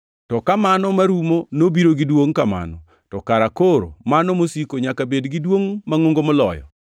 To ka mano marumo nobiro gi duongʼ kamano to kara koro mano masiko nyaka bed gi duongʼ mangʼongo moloyo!